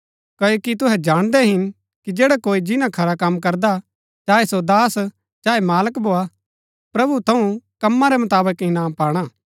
क्ओकि तुहै जाणदै हिन कि जैडा कोई जिन्‍ना खरा कम करदा चाऐं सो दास हा चाऐं मालक भोआ प्रभु थऊँ कमां रै मुताबक इनाम पाणा